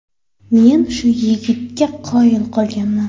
Men shu yigitga qoyil qolganman.